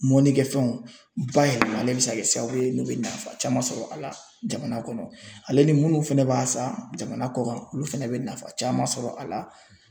Mɔnikɛfɛnw bayɛlɛmalen bɛ se ka kɛ sababu ye n'o bɛ nafa caman sɔrɔ a la jamana kɔnɔ, ale ni minnu fɛnɛ b'a san jamana kɔ kan, olu fɛnɛ bɛ nafa caman sɔrɔ a la .